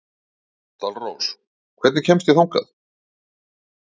Dalrós, hvernig kemst ég þangað?